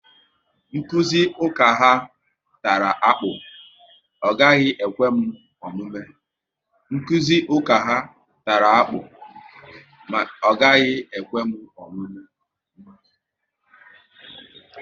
Nkụzi ụka ha tara akpụ, ọ gaghị ekwe m omume